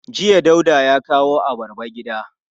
Jiya Dauda ya kawo abarba gida.